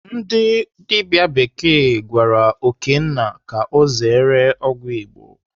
Ndị dibịa bekee gwara Okénna ka ọ zere ọgwụ Igbo.